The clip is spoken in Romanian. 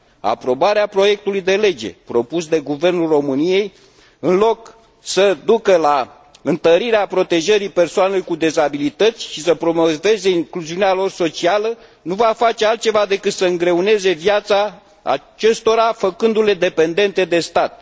Aprobarea proiectului de lege propus de Guvernul României, în loc să ducă la întărirea protejării persoanelor cu dizabilități și să promoveze incluziunea lor socială, nu va face altceva decât să îngreuneze viața acestora, făcându le dependente de stat.